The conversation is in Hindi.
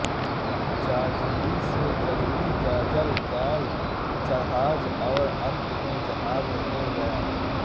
जाजलि से जाजली जाजल जाज जहाज और अंत में जहाज हो गया